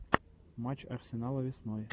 матч арсенала весной